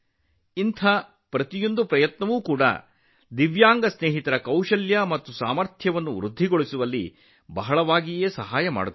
ಅಂತಹ ಪ್ರತಿಯೊಂದು ಪ್ರಯತ್ನವು ನಮ್ಮ ವಿಶೇಷ ಚೇತನ ಸ್ನೇಹಿತರ ಕೌಶಲ್ಯ ಮತ್ತು ಸಾಮರ್ಥ್ಯವನ್ನು ಹೆಚ್ಚಿಸುವಲ್ಲಿ ಬಹಳ ಪ್ರಯೋಜನವಾಗುತ್ತದೆ